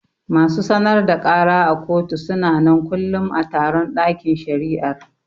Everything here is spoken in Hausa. Masu sanar da kara a kotu suna nan kullum a taron ɗakin shari'ar